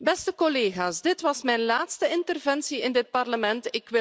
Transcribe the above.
Beste collega's, dit was mijn laatste interventie in dit Parlement.